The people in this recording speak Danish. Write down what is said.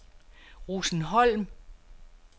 Rosenholm